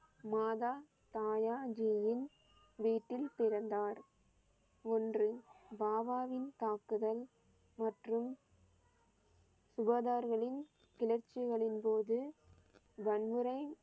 மாதா தாயா ஜியின் வீட்டில் பிறந்தார். ஒன்று பாபாவின் தாக்குதல் மற்றும் உபாதார்களின் கிளர்ச்சிகளின் போது வன்முறை